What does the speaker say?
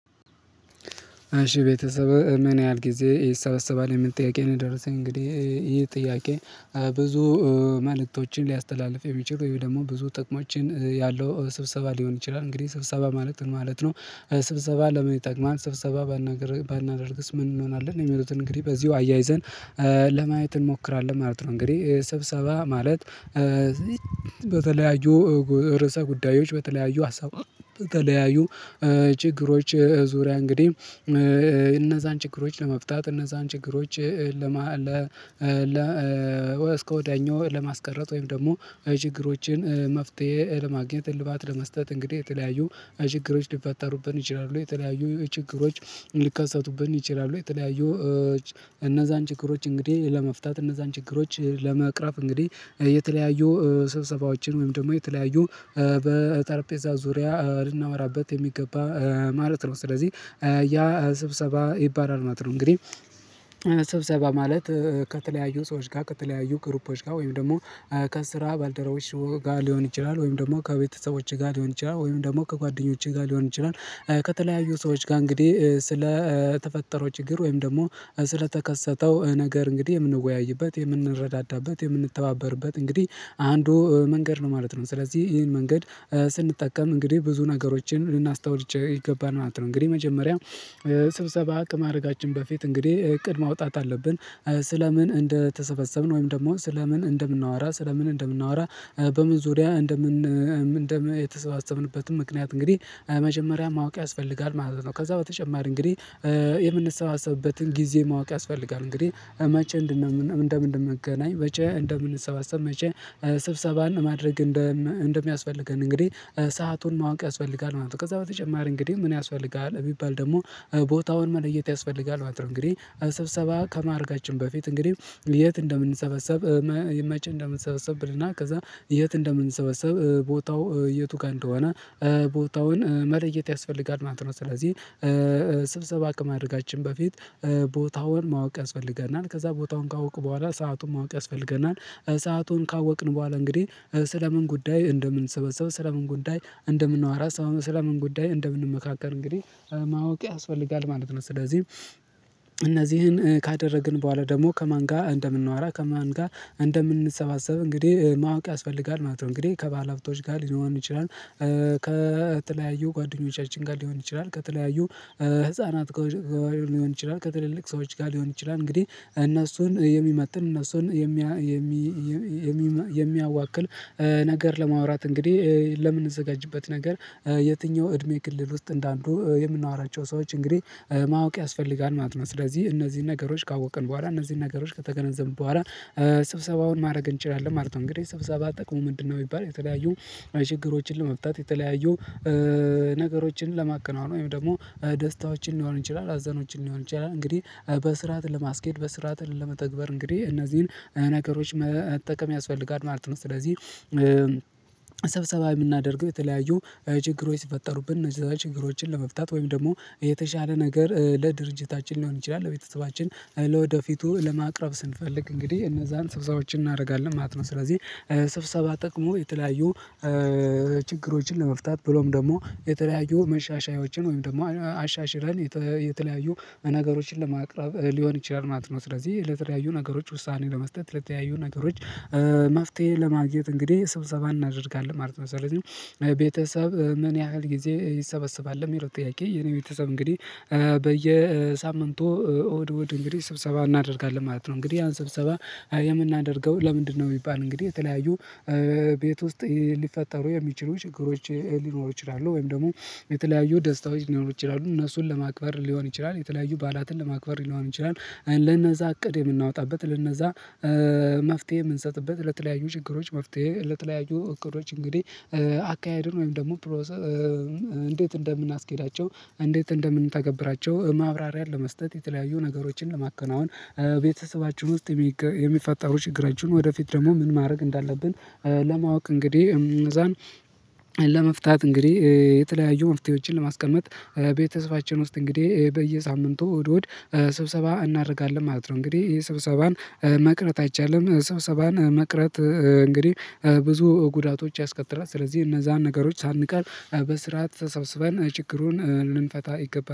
እሽ ቤተሰብ እምን ያህል ጊዜ ይሰበሰባል የሚል ጥያቄ ነው የደረሰኝ እንግዲህ ይሄ ጥያቄ? ብዙ መልእክቶችን ሊያስተላልፍ የሚችል ወይም ደግሞ ብዙ ጥቅሞችን ያለው ስብሰባ ሊሆን ይችላል። እንግዲህ ስብሰባ ማለት ምን ማለት ነው? ስብሰባ ለምን ይጠቅማል ስብሰባ ባናደርግስ ምን እንሆናለን የሚሉትን እንግዲህ በዚሁ አያይዘን ለማየት እንሞክራለን ማለት ነው። እንግዲህ ስብሰባ ማለት በተለያዩ ርዕሰ ጉዳዮች በተለያዩ ሀሳብ በተለያዩ ችግሮች ዙሪያ እንግዲህ እነዛን ችግሮች ለመፍታት እነዛን ችግሮች ለማ እስከ ወዳኛው ለማስቀረት ወይም ደግሞ የችግሮችን መፍትሄ ለማግኘት ለመስጠት እንግዲህ የተለያዩ ችግሮች ሊፈጠሩብን ይችላሉ የተለያዩ ችግሮች ሊከሰቱብን ይችላሉ የተለያዩ እነዛን ችግሮች እንግዲህ ለመፍታት እነዛን ችግሮች ለመቅረፍ እንግዲህ የተለያዩ ስብሰባዎችን ወይም ደግሞ የተለያዩ በጠርጴዛ ዙሪያ ልናወራበት የሚገባ ማለት ነው። ስለዚህ ያ ስብሰባ ይባላል ማለት ነው። እንግዲህ ስብሰባ ማለት ከተለያዩ ሰዎች ጋር ከተለያዩ ግሩፖች ጋር ወይም ደግሞ ከስራ ባልደረቦች ጋር ሊሆን ይችላል ወይም ደግሞ ከቤተሰቦቼ ጋር ሊሆን ይችላል ወይም ደግሞ ከጓደኞቼ ጋር ሊሆን ይችላል። ከተለያዩ ሰዎች ጋር እንግዲህ ስለ ተፈጠረው ችግር ወይም ደግሞ ስለተከሰተው ነገር እንግዲህ የምንወያይበት የምንረዳዳበት የምንተባበርበት እንግዲህ አንዱ መንገድ ነው ማለት ነው። ስለዚህ ይሄን መንገድ ስንጠቀም እንግዲህ ብዙ ነገሮችን ልናስታውል ይገባናል። እንግዲህ መጀመሪያ ስብሰባ ከማድርጋችን በፊት እንግዲህ እቅድ ማውጣት አለብን ስለምን እንደተሰበሰብን ወይም ደግሞ ስለምን ምን እንደምናወራ ስለ ምን እንደምናወራ በምን ዙሪያ እንደምን እንደምን የተሰበሰብንበትን ምክንያት እንግዲህ መጀመሪያ ማወቅ ያስፈልጋል ማለት ነው። ከዛ በተጨማሪ እንግዲህ የምንሰባሰብበትን ጊዜ ማወቅ ያስፈልጋል እንግዲህ መቼ እንደምንድን ምንገናኝ መቼ እንደምንሰባሰብ መቼ ስብሰባን ማድረግ እንደሚያስፈልገን እንግዲህ ሰአቱን ማወቅ ያስፈልጋል ማለት ነው። ከዛ በተጨማሪ እንግዲህ ምን ያስፈልጋል ቢባል ደግሞ ቦታውን መለየት ያስፈልጋል ማለት ነው። እንግዲህ ሰብሰባ ከማድረጋችን በፊት እንግዲህ የት እንደምንሰበሰብ መቼ እንደምንሰበሰብ ብልና ከዛ የት እንደምንሰበሰብ ቦታው የቱ ጋር እንደሆነ ቦታውን መለየት ያስፈልጋል ማለት ነው። ስለዚህ ስብሰባ አቅም ከማድርጋችን በፊት ቦታውን ማወቅ ያስፈልገናል ከዛ ቦታውን ካወቅኩ በኋላ ሰአቱን ማወቅ ያስፈልገናል። ሰአቱን ካወቅን በኋላ እንግዲህ ስለምን ጉዳይ እንደምንሰበሰበ ስለምን ጉዳይ እንደምንዋራ ስለምን ጉዳይ እንደምንመካከር እንግዲህ ማወቅ ያስፈልጋል ማለት ነው። ስለዚህ እነዚህን ካደረግን በኋላ ደግሞ ከማን ጋር እንደምናወራ ከማን ጋር እንደምንሰባሰብ እንግዲህ ማወቅ ያስፈልጋል ማለት ነው። እንግዲህ ከባለሀብቶች ጋር ሊሆን ይችላል ከተለያዩ ጓደኞቻችን ጋር ሊሆን ይችላል ከተለያዩ ህፃናት ጋር ሊሆን ይችላል ከትልልቅ ሰዎች ጋር ሊሆን ይችላል እንግዲህ እነሱን የሚመጥን እነሱን የሚያዋክል ነገር ለማውራት እንግዲህ ለምንዘጋጅበት ነገር የትኛው እድሜ ክልል ውስጥ እንዳሉ የምናወራቸው ሰዎች እንግዲህ ማወቅ ያስፈልጋል ማለት ነው ስለዚህ እነዚህን ነገሮች ካወቅን በኋላ እነዚህን ነገሮች ከተገነዘቡ በኋላ ስብሰባውን ማድረግ እንችላለን ማለት ነው። እንግዲህ ስብሰባ ጥቅሙ ምንድነው የሚባል የተለያዩ ችግሮችን ለመብታት የተለያዩ ነገሮችን ለማከናወን ወይም ደግሞ ደስታዎችን ሊሆን ይችላል ሀዘኖችን ሊሆን ይችላል እንግዲህ በስርዓት ለማስኬድ በስርዓት ለመተግበር እንግዲህ እነዚህን ነገሮች መጠቀም ያስፈልጋል ማለት ነው። ስለዚህ ሰብሰባ የምናደርግ የተለያዩ ችግሮች ሲፈጠሩብን እነዚህ ችግሮችን ለመፍታት ወይም ደግሞ የተሻለ ነገር ለድርጅታችን ሊሆን ይችላል ለቤተሰባችን ለወደፊቱ ለማቅረብ ስንፈልግ እንግዲህ እነዛን ስብሰባዎችን እናደርጋለን ማለት ነው። ስለዚህ ስብሰባ ጥቅሙ የተለያዩ ችግሮችን ለመፍታት ብሎም ደግሞ የተለያዩ መሻሻያዎችን ወይም ደግሞ አሻሽረን የተለያዩ ነገሮችን ለማቅረብ ሊሆን ይችላል ማለት ነው። ስለዚህ ለተለያዩ ነገሮች ውሳኔ ለመስጠት ለተለያዩ ነገሮች መፍትሄ ለማግኘት እንግዲህ ስብሰባ እናደርጋለን ማለት መሰለኝ። ቤተሰብ ምን ያህል ጊዜ ይሰበሰባል ለሚለው ጥያቄ የኔ ቤተሰብ እንግዲህ በየሳምንቱ እሁድ እሁድ እንግዲህ ስብሰባ እናደርጋለን ማለት ነው። እንግዲህ ያን ሰብሰባ የምናደርገው ለምንድነው? ቢባል እንግዲህ የተለያዩ ቤት ውስጥ ሊፈጠሩ የሚችሉ ችግሮች ሊኖሩ ይችላሉ ወይም ደግሞ የተለያዩ ደስታዎች ሊኖሩ ይችላሉ እነሱን ለማክበር ሊሆን ይችላል የተለያዩ ባላትን ለማክበር ሊሆን ይችላል። ለነዛ እቅድ የምናወጣበት ለነዛ መፍትሄ የምንሰጥበት ለተለያዩ ችግሮች መፍትሄ ለተለያዩ እቅዶች እንግዲህ አካሄድን ወይም ደግሞ እንዴት እንደምንአስኬዳቸው እንዴት እንደምንተገብራቸው? ማብራሪያን ለመስጠት የተለያዩ ነገሮችን ለማከናወን ቤተሰባችን ውስጥ የሚፈጠሩ ችግራችሁን ወደፊት ደግሞ ምን ማድረግ እንዳለብን ለማወቅ እንግዲህ እንነዛን ለመፍታት እንግዲህ የተለያዩ መፍትሄዎችን ለማስቀመጥ ቤተሰባችን ውስጥ እንግዲህ በየሳምንቱ እሁድ እሁድ ስብሰባ እናደርጋለን ማለት ነው። እንግዲህ ስብሰባን መቅረት አይቻልም። ስብሰባን መቅረት እንግዲህ ብዙ ጉዳቶች ያስከትራል። ስለዚህ እነዛን ነገሮች ሳንቀር በስርዓት ተሰብስበን ችግሩን ልንፈታ ይገባል